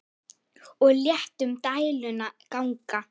Og létum dæluna ganga.